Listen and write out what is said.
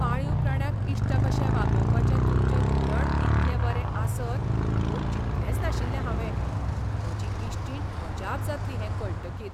पाळीव प्राण्यांक इश्ट कशे वागोवपाचें तुमचें धोरण इतलें बरें आसत म्हूण चिंतलेंच नाशिल्लें हावें. म्हजी इश्टीण अजाप जातली हें कळटकीर.